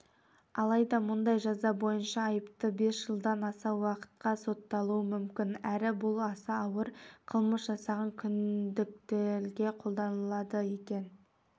алайда мұндай жаза бойынша айыпты бес жылдан аса уақытқа сотталуы мүмкін әрі бұл аса ауыр қылмыс жасаған күдіктілерге қолданылады екен